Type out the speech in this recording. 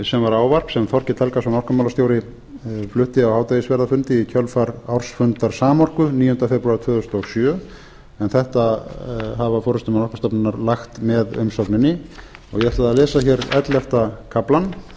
sem var ávarp sem þorkell helgason orkumálastjóri flutti á hádegisverðarfundi í kjölfar ársfundar samorku níundi febrúar tvö þúsund og sjö en þetta hafa forustumenn orkustofnunar lagt með umsögninni og ég ætla að lesa hér ellefta kaflann